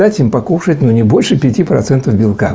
дать им покушать но не больше пяти процентов белка